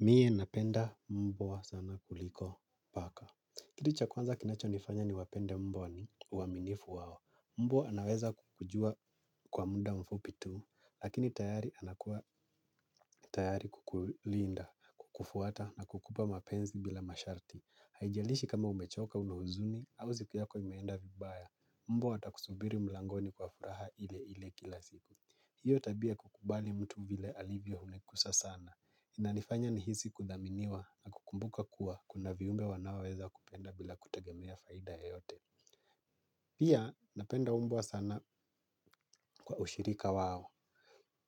Mie napenda mbwa sana kuliko paka. Kitu cha kwanza kinachonifanya niwapenda mbwa ni uaminifu wao. Mbwa anaweza kukujua kwa muda mfupi tu, lakini tayari anakuwa tayari kukulinda, kukufuata na kukupa mapenzi bila masharti. Haijalishi kama umechoka una huzuni, au siku yako imeenda vibaya. Mbwa atakusubiri mlangoni kwa furaha ile ile kila siku. Hiyo tabia ya kukubali mtu vile alivyo umekusa sana. Inanifanya nihisi kuthaminiwa na kukumbuka kuwa kuna viumbe wanaoweza kupenda bila kutegemea faida yoyote. Pia napenda mbwa sana kwa ushirika wao.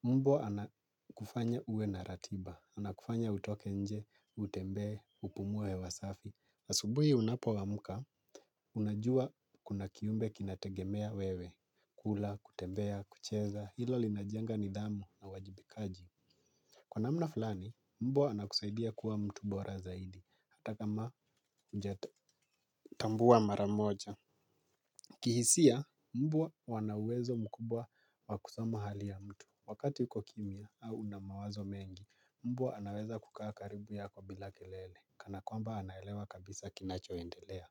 Mbwa anakufanya uwe na ratiba. Anakufanya utoke nje, utembee, upumue hewa safi. Asubuhi unapoamka, unajua kuna kiumbe kinategemea wewe. Kula, kutembea, kucheza, hilo linajenga nidhamu na uwajibikaji. Kwa namna fulani, mbwa anakusaidia kuwa mtu bora zaidi, hata kama mjata tambua maramoja. Kihisia, mbwa wana uwezo mkubwa wa kusoma hali ya mtu. Wakati uko kimya au una mawazo mengi, mbwa anaweza kukaa karibu yako bila kelele, kana kwamba anaelewa kabisa kinacho endelea.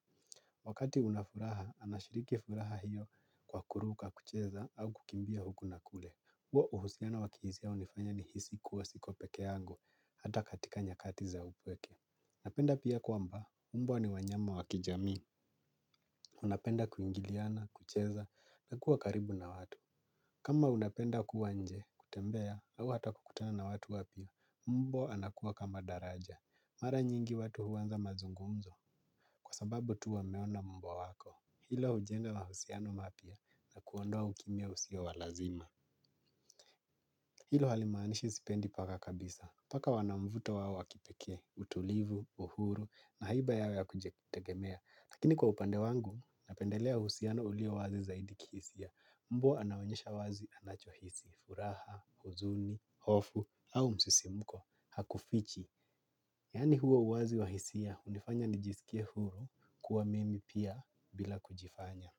Wakati una furaha, anashiriki furaha hiyo kwa kuruka kucheza au kukimbia huku na kule. Huwa uhusiana wa kihisia hunifanya nihisi kuwa siko peke yangu, hata katika nyakati za upweke. Napenda pia kwamba, mbwa ni wanyama wa kijamii. Unapenda kuingiliana, kucheza, na kuwa karibu na watu. Kama unapenda kuwa nje, kutembea, au hata kukutana na watu wapya. Mbwa anakuwa kama daraja. Mara nyingi watu huanza mazungumzo, kwa sababu tu wameona mbwa wako. Hilo hujenga mahusiano mapya na kuondoa ukimya usio wa lazima. Hilo halimaanishi sipendi paka kabisa. Paka wana mvuto wao wa kipekee utulivu, uhuru na haiba yao ya kujitegemea. Lakini kwa upande wangu, napendelea uhusiano ulio wazi zaidi kihisia. Mbwa anaonyesha wazi anachohisi, furaha, huzuni, hofu au msisimuko hakufichi. Yani huo uwazi wa hisia hunifanya nijisikie huru kuwa mimi pia bila kujifanya.